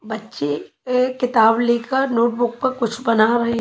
बच्चे एक किताब लेकर नोटबुक पर कुछ बना रहे--